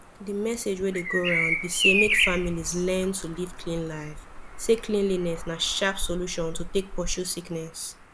the message wey dey go round be say make families learn to live clean life say cleanliness na sharp solution to take pursue sickness